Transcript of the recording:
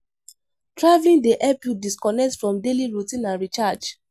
Traveling dey help you disconnect from daily routine and recharge.